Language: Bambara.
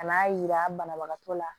Ka n'a yira banabagatɔ la